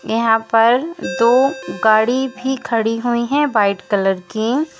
यहां पर दो गाड़ी भी खड़ी हुई है वाइट कलर की।